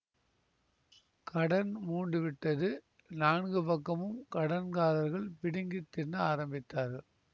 கடன் மூண்டு விட்டது நான்கு பக்கமும் கடன் காரர்கள் பிடுங்கி தின்ன ஆரம்பித்தார்கள்